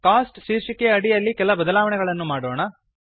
coast ಶೀರ್ಷಿಕೆಯ ಅಡಿಯಲ್ಲಿ ಕೆಲ ಬದಲಾವಣೆಗಳನ್ನು ಮಾಡೋಣ